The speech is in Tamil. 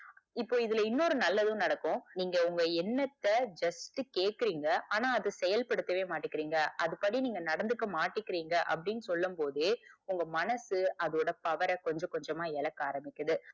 இப்போ இதுல இன்னொரு நல்லது நடக்கும் நீங்க உங்க எண்ணத்த just கேக்குறீங்க ஆனா அத செயல்படுத்தவே மாட்டுறீங்க அதன்படி நீங்க நடந்துக்க மாட்டிக்கிரீங்க அப்டின்னு சொல்லும் போதே உங்க மனசு அதோட power அ கொஞ்சம் கொஞ்சமா இழக்க ஆரம்பிக்கிறது.